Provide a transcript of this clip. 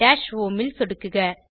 dash home ல் சொடுக்குக